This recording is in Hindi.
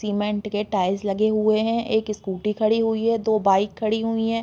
सीमेंट के टाइल्स लगी हुई है। एक स्कूटी खड़ी हुई है। दो बाइक खड़ी हुई हैं।